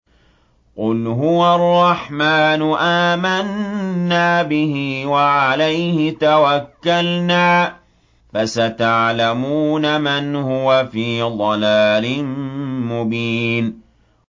قُلْ هُوَ الرَّحْمَٰنُ آمَنَّا بِهِ وَعَلَيْهِ تَوَكَّلْنَا ۖ فَسَتَعْلَمُونَ مَنْ هُوَ فِي ضَلَالٍ مُّبِينٍ